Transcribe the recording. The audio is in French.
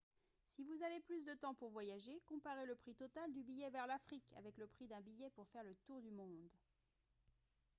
si vous avez plus de temps pour voyager comparez le prix total du billet vers l'afrique avec le prix d'un billet pour faire le tour du monde